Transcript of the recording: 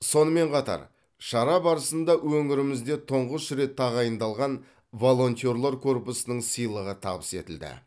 сонымен қатар шара барысында өңірімізде тұңғыш рет тағайындалған волонтерлар корпусының сыйлығы табыс етілді